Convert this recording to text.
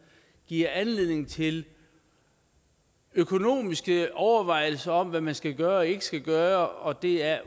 giver anledning til økonomiske overvejelser om hvad man skal gøre og ikke skal gøre og det er